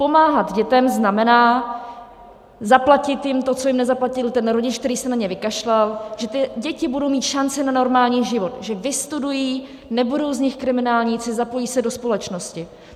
Pomáhat dětem znamená zaplatit jim to, co jim nezaplatil ten rodič, který se na ně vykašlal, že ty děti budou mít šanci na normální život, že vystudují, nebudou z nich kriminálníci, zapojí se do společnosti.